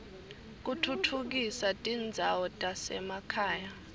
kutfutfukisa tindzawo tasema khaya